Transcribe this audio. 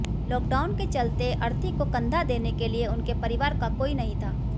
lockdown के चलते अर्थी को कंधा देने के लिए उनके परिवार का कोई नहीं था